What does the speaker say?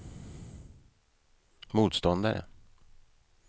motståndare